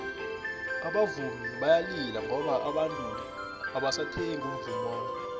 abavumi bayalila ngoba abantu abasathengi umvummo wabo